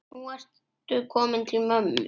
Nú ertu kominn til mömmu.